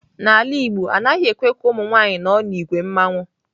N'ala igbo, anaghị ekwe ka ụmụ nwanyị nọ n'ìgwè mmanwu.